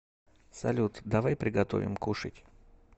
салют давай приготовим кушать